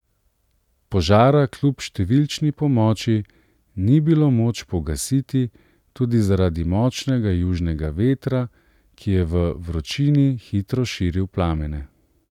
Požara kljub številčni pomoči ni bilo moč pogasiti tudi zaradi močnega južnega vetra, ki je v vročini hitro širil plamene.